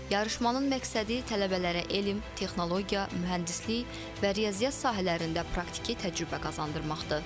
Yarışmanın məqsədi tələbələrə elm, texnologiya, mühəndislik və riyaziyyat sahələrində praktiki təcrübə qazandırmaqdır.